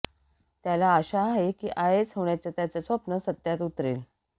त्याला आशा आहे की आयएएस होण्याचं त्याचं स्वप्न सत्यात उतरेल